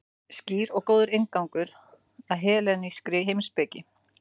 Skýr og góður inngangur að hellenískri heimspeki.